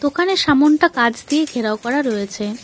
ওখানে সামোনটা কাচ দিয়ে ঘেরাও করা রয়েছে।